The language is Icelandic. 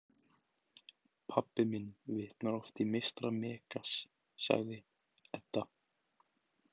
Pabbi minn vitnar oft í meistara Megas, sagði Edda.